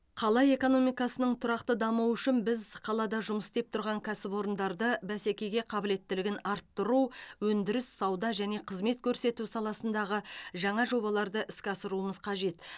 қала экономикасының тұрақты дамуы үшін біз қалада жұмыс істеп тұрған кәсіпорындарды бәсекеге қабілеттілігін арттыру өндіріс сауда және қызмет көрсету саласындағы жаңа жобаларды іске асыруымыз қажет